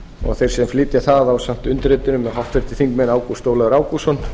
og þeir sem flytja það ásamt undirrituðum eru háttvirtir þingmenn ágúst ólafur ágústsson